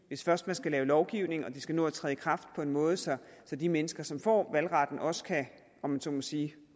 hvis først man skal lave lovgivning og den skal nå at træde kraft på en måde så så de mennesker som får valgretten også kan om man så må sige